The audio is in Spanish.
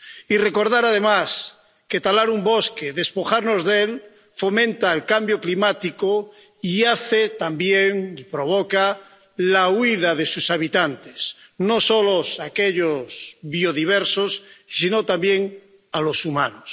Y recordar además que talar un bosque, despojarnos de él, fomenta el cambio climático y provoca también la huida de sus habitantes, no solo de aquellos biodiversos sino también de los humanos.